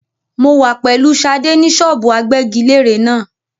Mo wà pẹ̀lú Sadé ni ṣọ́ọ́bù agbẹ́giléèrè náà.